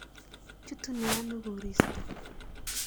Chutune ano koristo?